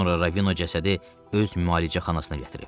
Sonra Ravino cəsədi öz müalicəxanasına gətirib.